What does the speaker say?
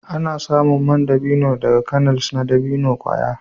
Ana samun man dabino daga kernels na dabino kwaya.